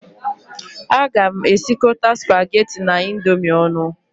Aga m esikọta spaghetti na Indomie ọnụ